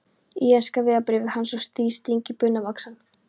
lenska vegabréfið hans og sting því í buxnavasann.